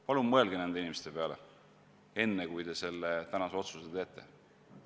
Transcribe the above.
Palun mõelge nende inimeste peale, enne kui te selle tänase otsuse teete!